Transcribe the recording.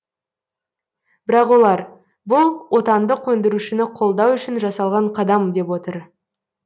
бірақ олар бұл отандық өндірушіні қолдау үшін жасалған қадам деп отыр